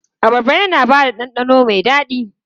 Abarba yana ba da ɗanɗano mai daɗi.